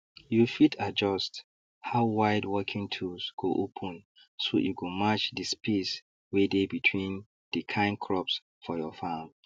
you fit adjust how wide working tools go open so e go match the space wey dey between dey kin crops for your farm